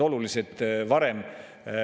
Loomulikult tuleb siis laenuraha mõistlikult kasutada.